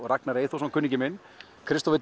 Ragnar Eyþórsson kunningi minn Kristófer